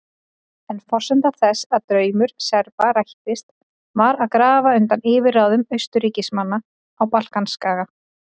En forsenda þess að draumur Serba rættist var að grafa undan yfirráðum Austurríkismanna á Balkanskaga.